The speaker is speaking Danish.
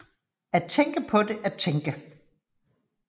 At tænke på det at tænke